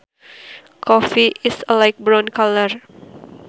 Coffee is a light brown color